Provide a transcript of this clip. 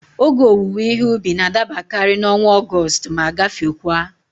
Ógè owuwe ihe ubi n'adabakari n'ọnwa Ọgọstụ ma gafekwaa